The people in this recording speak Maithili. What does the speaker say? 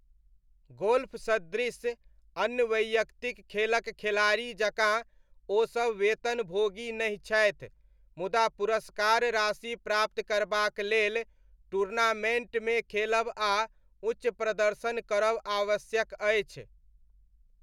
गोल्फ सदृश अन्य वैयक्तिक खेलक खेलाड़ी जकाँ ओ सब वेतनभोगी नहि छथि, मुदा पुरस्कार राशि प्राप्त करबाक लेल टूर्नामेण्टमे खेलब आ उच्च प्रदर्शन करब आवश्यक अछि।